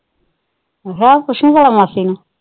ਅੱਛਾ, ਪੁੱਛੂ ਭਲਾ ਮਾਂਸੀ ਨੂੰ।